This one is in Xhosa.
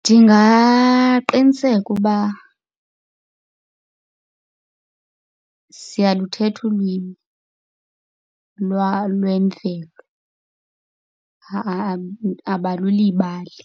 Ndingaqiniseka uba siyaluthetha ulwimi lwemvelo abalulibali.